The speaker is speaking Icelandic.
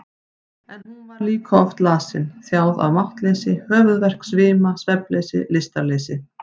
En hún var líka oft lasin, þjáð af máttleysi, höfuðverk, svima, svefnleysi, lystarleysi.